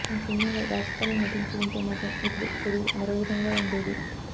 ఆ సినిమాల్లో రాజ్ తరుణ్ నటించి ఉంటే మాత్రం ఇప్పుడు కెరీర్ మరో విధంగా ఉండేది